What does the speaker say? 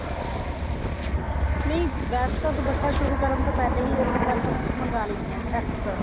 ਨਹੀਂ ਵੈਸੇ ਤਾਂ ਦੁਪੱਟਾ ਸ਼ੁਰੂ ਕਰਨ ਤੋਂ ਪਹਿਲੇ ਹੀ color ਮੰਗਾ ਲੈਣੇ ਹਾਂ extra